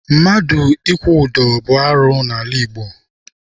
Mmadụ ịkwụ ụdọ bụ arụ n'ala Igbo.